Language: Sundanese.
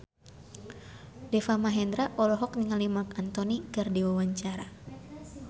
Deva Mahendra olohok ningali Marc Anthony keur diwawancara